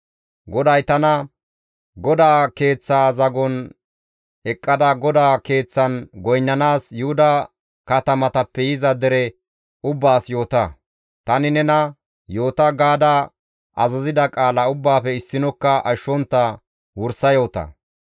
GODAY tana, «GODAA Keeththaa zagon eqqada GODAA Keeththan goynnanaas Yuhuda katamatappe yiza dere ubbaas yoota; tani nena, ‹Yoota› gaada azazida qaala ubbaafe issinokka ashshontta wursa yoota.